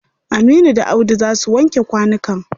Aminu da Audu za su wanke kwanukan.